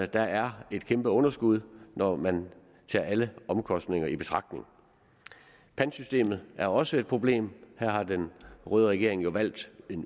der er et kæmpe underskud når man tager alle omkostninger i betragtning pantsystemet er også et problem her har den røde regering jo valgt